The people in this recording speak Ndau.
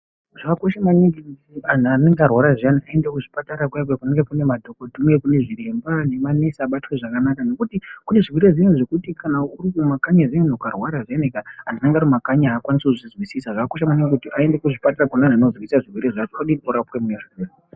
Zvakakosha maningi kuti antu anenge arwara ayani aende kuzvipatara kuya kuya kunenge kune madhokodheya manesi nezviremba abatwe zvakanaka ngokuti kune zvirwere zviyani zvokuti ukange uri kumakanyi zviyani ukarwara zviyani antu anenge ari mumakanyi aakwanisi kuzvinzwisisa zvakakosha maningi kuti aende kuzvipatara zvine vantu vanozvinzwisisa zvirwere zvacho orapwe odini opora.